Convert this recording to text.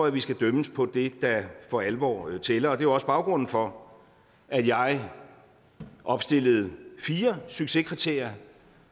at vi skal dømmes på det der for alvor tæller det også baggrunden for at jeg opstillede fire succeskriterier